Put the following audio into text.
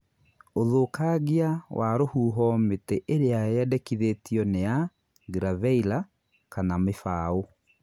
Ũthũkangia wa rũhuho mĩtĩ ĩrĩa yendekithĩtio ni ya giraveilla kana mĩfaũ